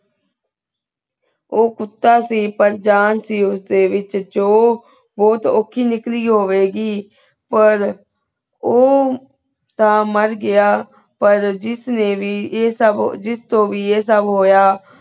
ਊ ਕੁੱਤਾ ਸੀ ਪਰ ਜਾਨ ਸੀ ਉਸ ਦੇ ਵਿਚ ਜੋ ਬੋਹਤ ਊਖੀ ਨਿਕਲੀ ਓਵੇ ਗੀ ਪਰ ਊ ਤਾਂ ਮਾਰ ਗਯਾ ਪਰ ਜਿਸ ਨੇ ਵੀ ਆਯ ਸਬ ਜਿਸ ਤੋ ਵੀ ਆਯ ਸਬ ਹੋਯਾ